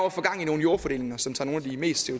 at få gang i nogle jordfordelinger som tager nogle af de mest